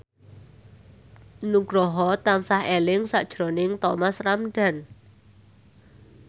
Nugroho tansah eling sakjroning Thomas Ramdhan